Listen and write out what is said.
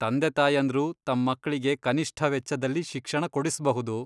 ತಂದೆತಾಯಂದ್ರು ತಮ್ ಮಕ್ಳಿಗೆ ಕನಿಷ್ಠ ವೆಚ್ಚದಲ್ಲಿ ಶಿಕ್ಷಣ ಕೊಡಿಸ್ಬಹುದು.